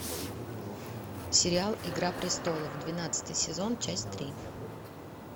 сериал игра престолов двенадцатый сезон часть три